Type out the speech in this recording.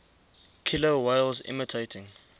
killer whales imitating